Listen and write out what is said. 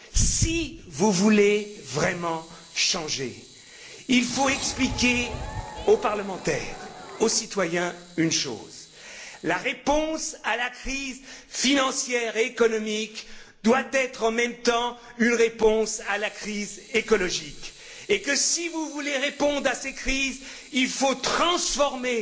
Si vous voulez vraiment changer, il faut expliquer une chose aux parlementaires, aux citoyens la réponse à la crise financière et économique doit être en même temps une réponse à la crise écologique, et si vous voulez répondre à ces crises, il faut transformer